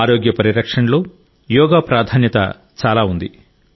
ఆరోగ్య పరిరక్షణలో యోగా ప్రాధాన్యత చాలా ఉంది